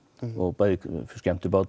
bæði skemmti